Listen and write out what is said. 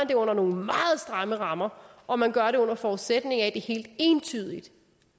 det under nogle meget stramme rammer og man gør det under forudsætning af at det helt entydigt